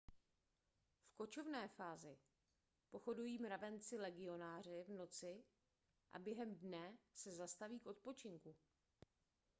v kočovné fázi pochodují mravenci legionáři v noci a během dne se zastaví k odpočinku